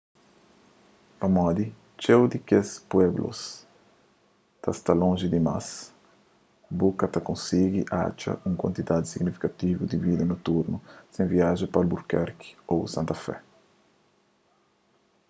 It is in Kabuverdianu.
pamodi txeu di kes pueblos ta sta lonji dimas bu ka ta konsigi atxa un kuantidadi signifikativu di vida noturnu sen viaja pa albuquerque ô santa fé